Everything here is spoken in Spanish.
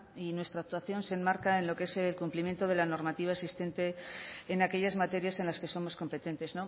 y nuestra actuación se enmarca en lo que es el cumplimiento de la normativa existente en aquellas materias en las que somos competentes